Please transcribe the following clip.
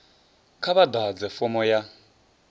kha vha ḓadze fomo ya